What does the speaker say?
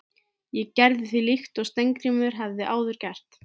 Ég gerði því líkt og Steingrímur hafði áður gert.